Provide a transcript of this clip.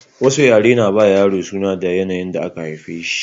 Wasu yaren na ba yaro suna da yanayin da aka haife shi